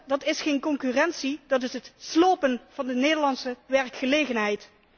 Dat is echter geen concurrentie, dat is het slopen van de Nederlandse werkgelegenheid.